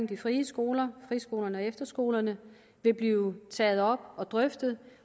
de frie skoler friskolerne og efterskolerne vil blive taget op og drøftet